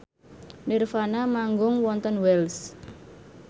nirvana manggung wonten Wells